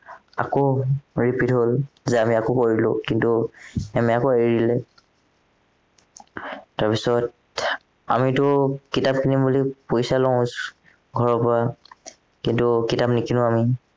আকৌ repeat হল যে আমি আকৌ কৰিলো কিন্তু ma'am এ আকৌ এৰি দিলে তাৰপাছত আমিতো কিতাপ কিনিম বুলি পইচা লও ঘৰৰ পৰা কিন্তু কিতাপ নিকিনো আমি